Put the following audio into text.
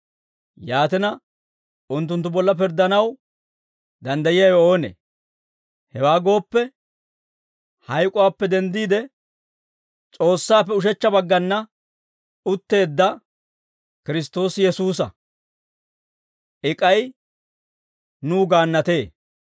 Yaatina, unttunttu bolla pirddanaw danddayiyaawe oonee? Hewaa gooppe, hayk'uwaappe denddiide, S'oossaappe ushechcha baggana utteedda, Kiristtoosi Yesuusa; I k'ay nuw gaannatee.